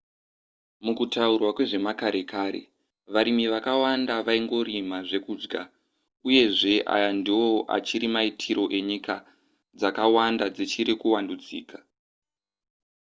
mukutaurwa kwezvemakare kare varimi vakawanda vaingorima zvekudya uyezve aya ndiwo achiri maitiro kunyika dzakawanda dzichiri kuvandudzika